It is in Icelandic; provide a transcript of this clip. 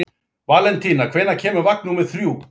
Valentína, hvenær kemur vagn númer þrjú?